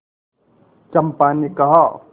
चंपा ने कहा